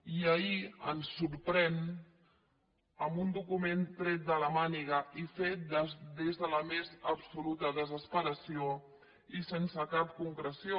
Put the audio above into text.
i ahir ens sorprèn amb un document tret de la màniga i fet des de la més absoluta desesperació i sense cap concreció